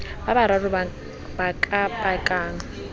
ba bararo ba ka pakang